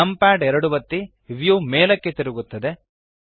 numpad 2 ಒತ್ತಿ view ಮೇಲಕ್ಕೆ ತಿರುಗುತ್ತದೆ